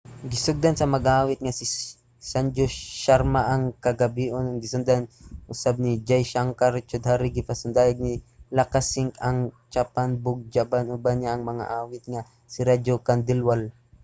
gisugdan sa mag-aawit nga si sanju sharma ang kagabhion ug gisundan usab ni jai shankar choudhary. gipasundayag sad ni lakkha singh ang chhappan bhog bhajan. uban niya ang mag-aawit nga si raju khandelwal